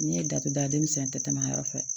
N'i ye datugu damisɛn tɛ tɛmɛ a yɔrɔ fɛ